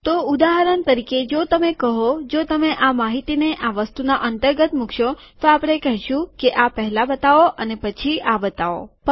તો ઉદાહરણ તરીકે જો તમે કહોજો તમે આ માહિતીને આ વસ્તુના અંતર્ગત મુકશો તો આપણે કહેશું કે આ પહેલા બતાવો અને પછી આ બતાવો